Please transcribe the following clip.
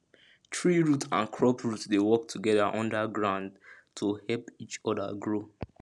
tree root and crop root dey work together under ground to help each other grow